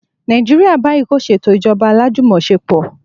Nàìjíríà báyìí kò ṣe ètò ìjọba alájùmọ̀ṣepọ̀